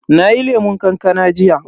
Nayi lemun kankana jiya.